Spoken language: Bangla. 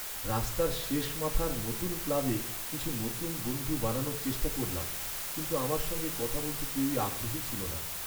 রাস্তার শেষ মাথার নতুন ক্লাবে কিছু নতুন বন্ধু বানানোর চেষ্টা করলাম কিন্তু আমার সঙ্গে কথা বলতে কেউই আগ্রহী ছিল না।